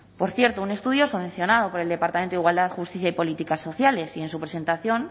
por cierto un estudio subvencionado por el departamento de igualdad justicia y políticas sociales y en su presentación